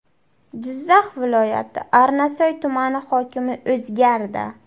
Jizzax viloyati Arnasoy tumani hokimi o‘zgardi.